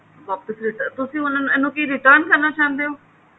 ਵਾਪਿਸ return ਤੁਸੀਂ ਇਹਨੂੰ ਕਿ return ਕਰਨਾ ਚਾਹੰਦੇ ਹੋ